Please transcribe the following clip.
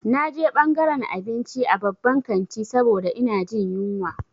Na je ɓangaran abinci a babban kanti saboda ina jin yunwa.